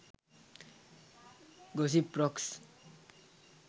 gossip rocks